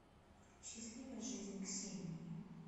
счастливая жизнь ксении